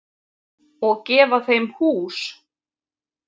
Og gefa þeim hús.